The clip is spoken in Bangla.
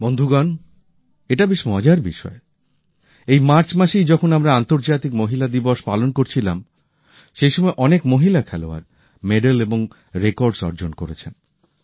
বন্ধুগণ এটা বেশ মজার বিষয় এই মার্চ মাসেই যখন আমরা আন্তর্জাতিক মহিলা দিবস পালন করছিলাম সেইসময়ই অনেক মহিলা খেলোয়াড় মেডেল পেয়েছেন এবং রেকর্ডস গড়েছেন